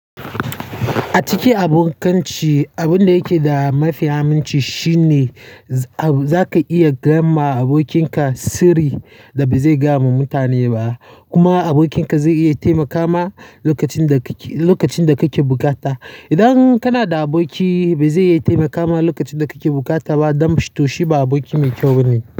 A cikin abokanci, abin da yake da mafi aminci shine zaka iya gaya ma abokinka sirri da ba zai gaya wa mutane ba. Kuma abokinka zai iya taimaka ma lokacin da kake bukata. Idan kana da aboki ba zai iya taimaka ma lokacin da kake bukata ba, don to shi ba aboki mai kyau bane.